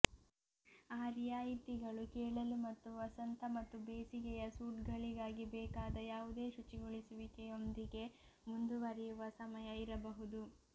ಆ ರಿಯಾಯಿತಿಗಳು ಕೇಳಲು ಮತ್ತು ವಸಂತ ಮತ್ತು ಬೇಸಿಗೆಯ ಸೂಟ್ಗಳಿಗಾಗಿ ಬೇಕಾದ ಯಾವುದೇ ಶುಚಿಗೊಳಿಸುವಿಕೆಯೊಂದಿಗೆ ಮುಂದುವರಿಯುವ ಸಮಯ ಇರಬಹುದು